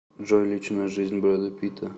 джой личная жизнь брэда питта